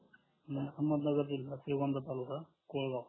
अहमदनगर जिल्हा श्रीवरध तालुका कुहेगाव